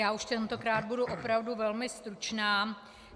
Já už tentokrát budu opravdu velmi stručná.